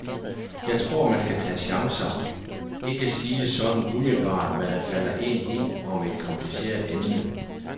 Jeg tror, man skal tage chancer, ikke sige sådan umiddelbart, hvad der falder een ind om et kompliceret emne.